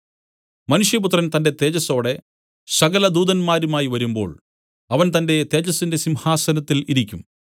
മനുഷ്യപുത്രൻ തന്റെ തേജസ്സോടെ സകല ദൂതന്മാരുമായി വരുമ്പോൾ അവൻ തന്റെ തേജസ്സിന്റെ സിംഹാസനത്തിൽ ഇരിക്കും